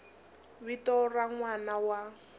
vito ra n wana wa